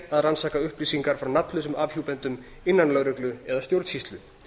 e rannsaka upplýsingar frá nafnlausum afhjúpendum innan lögreglu eða stjórnsýslu